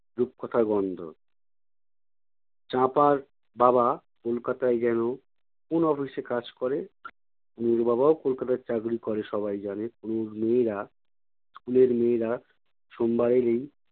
রূপকথা গন্ধ। চাঁপার বাবা কলকাতায় যেনো কোন office এ কাজ করে? তনুর বাবাও কলকাতায় চাকরি করে সবাই জানে। তনুর মেয়েরা school এর মেয়েরা সোমবার এলেই